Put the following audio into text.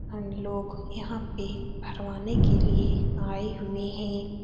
हम लोग यहाँ पे भरवाने के लिए आये हुए हैं।